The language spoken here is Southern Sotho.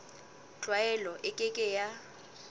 tlwaelo e ke ke ya